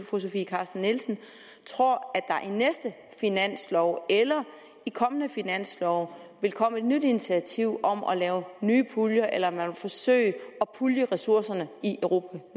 fru sofie carsten nielsen tror at næste finanslov eller i kommende finanslove vil komme et nyt initiativ om at lave nye puljer eller om man vil forsøge at pulje ressourcerne i europa